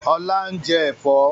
Ọlá ń jẹ́ Ẹ̀fọ́